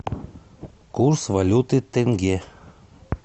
курс валюты тенге